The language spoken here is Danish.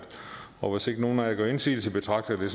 og hvis ikke nogen af jer gør indsigelse betragter jeg